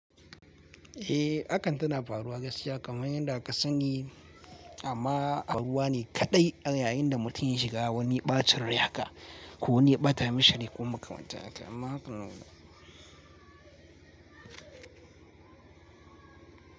Eh akan tana faruwa gaskiya kamar yadda ka sani amma aruwa ne kaɗai yayin da mutum shiga wani ɓacin raye haka ko wani yaɓata mishi ko makwabtata amma hakanan.